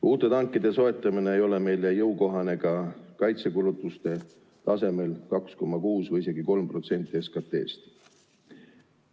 Uute tankide soetamine ei ole meile jõukohane ka kaitsekulutuste tasemel 2,6% või isegi 3% SKT-st.